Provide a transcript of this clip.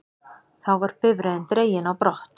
Þá var bifreiðin dregin á brott